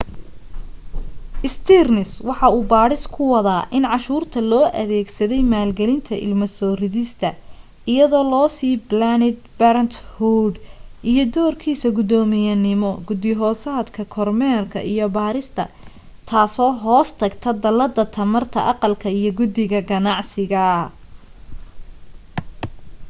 stearns waxa uu baadhis ku wadaa in cashuurta loo adeegsaday maalgelinta ilmo soo ridista iyadoo loo sii planned parenthood iyo doorkiisa guddoomiyenimo guddi hoosaadka kormeerka iyo baarista taasoo hoos tagta dallada tamarta aqalka iyo guddida ganacsiga